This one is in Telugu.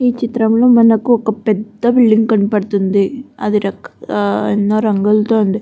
ఈ చిత్రం లో మనకి ఒక పెద్ద బిల్డింగ్ కనబడుతుంది అది రక్ ఆ ఎన్నో రంగులతో ఉంది.